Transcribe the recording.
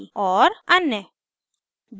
अन्य